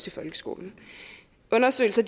i folkeskolen undersøgelser